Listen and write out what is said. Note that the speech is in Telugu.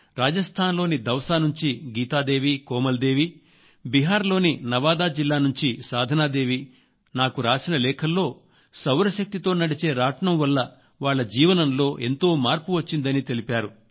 రాజస్థాన్ లోని దౌసా నుంచి గీతా దేవి కోమల్ దేవిబీహార్ లోని నవాదా జిల్లా నుంచి సాధనాదేవి నాకు రాసిన లేఖల్లో సౌర శక్తితో నడిచే రాట్నం వల్ల వాళ్ళ జీవనంలో ఎంతో మార్పు వచ్చిందని తెలిపారు